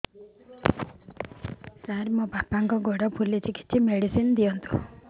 ସାର ମୋର ବାପାଙ୍କର ଗୋଡ ଫୁଲୁଛି କିଛି ମେଡିସିନ ଦିଅନ୍ତୁ